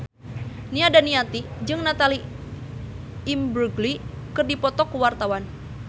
Nia Daniati jeung Natalie Imbruglia keur dipoto ku wartawan